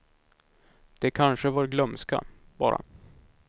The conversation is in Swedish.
Det kanske var glömska, bara.